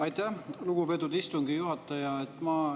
Aitäh, lugupeetud istungi juhataja!